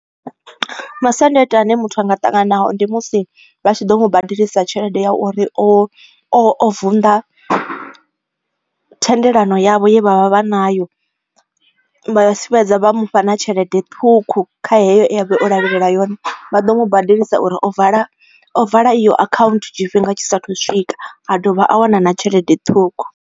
Masiandoitwa ane muthu anga ṱangana nao ndi musi vhatshi ḓo mu badelisa tshelede ya uri o o o vunḓa thendelano yavho ye vhavha vha nayo, vha si fhedza vha mufha na tshelede ṱhukhu kha heyo ye avha o lavhelela yone, vha ḓo mu badelisa uri ovala ovala iyo account tshifhinga tshisa thu swika a dovha a wana na tshelede ṱhukhu.